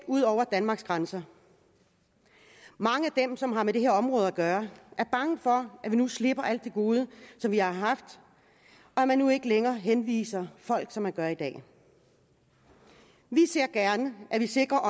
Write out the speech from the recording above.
ud over danmarks grænser mange af dem som har med det her område at gøre er bange for at vi nu slipper alt det gode som vi har haft og at man nu ikke længere henviser folk som man gør i dag vi ser gerne at vi sikrer